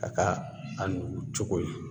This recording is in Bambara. A ka a nugu cogo